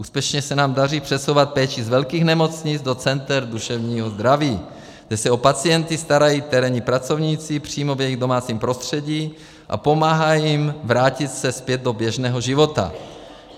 Úspěšně se nám daří přesouvat péči z velkých nemocnic do center duševního zdraví, kde se o pacienta starají terénní pracovníci přímo v jejich domácím prostředí a pomáhají jim vrátit se zpět do běžného života.